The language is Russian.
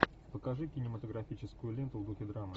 покажи кинематографическую ленту в духе драмы